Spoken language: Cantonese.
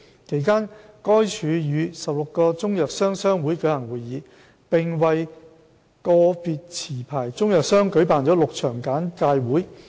其間，該署與16個中藥商商會舉行會議，並為個別持牌中藥商舉辦了6場簡介會。